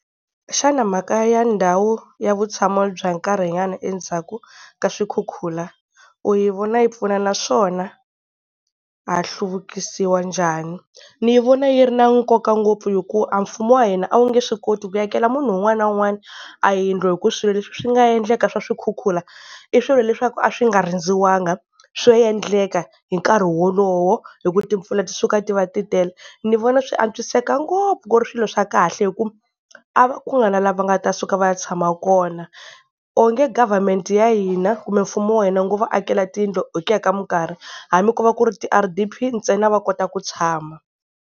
Xana mhaka ya ndhawu ya vutshamo bya nkarhinyana endzhaku ka swikhukhula u yi vona yi pfuna naswona ha hluvukisiwa njhani? Ni yi vona yi ri na nkoka ngopfu hikuva a mfumo wa hina a wu nge swi koti ku akela munhu un'wana na un'wana a yindlu, hi ku swilo leswi swi nga endleka swa swikhukhula i swilo leswaku a swi nga rindziwaka, swo endleka hi nkarhi wolowo hi ku timpfula ti suka ti va titele. Ni vona swi antswiseka ngopfu, ku ri swilo swa kahle hi ku a ku nga na la va nga ta suka va ya tshama kona, onge government ya hina kumbe mfumo wa hina wu ngo va akela tiyindlo hi ku ya ka minkarhi hambi ko va ku ri ti-R_D_P ntsena va kota ku tshama.